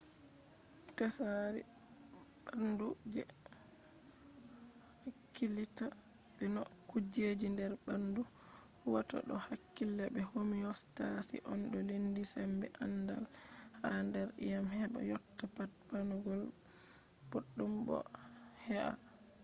tsari ɓandu je hakkilitta be no kujeji nder ɓandu huwata do hakkila be homiyostasis on to lendi sembe andal ha nder e’am heɓa yotta pat ɓandu ɓoɗɗum bo he’a